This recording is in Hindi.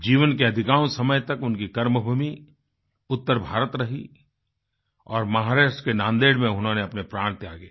जीवन के अधिकांश समय तक उनकी कर्मभूमि उत्तर भारत रही और महाराष्ट्र के नांदेड़ में उन्होंने अपने प्राण त्यागे